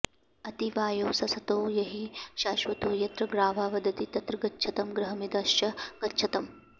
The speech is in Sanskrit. अति वायो ससतो याहि शश्वतो यत्र ग्रावा वदति तत्र गच्छतं गृहमिन्द्रश्च गच्छतम्